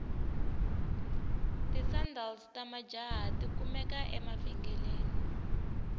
tisandals tamajahha takumeka evengeleni